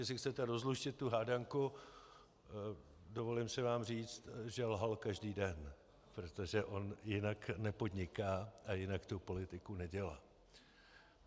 Jestli chcete rozluštit tu hádanku, dovolím si vám říct, že lhal každý den, protože on jinak nepodniká a jinak tu politiku nedělá.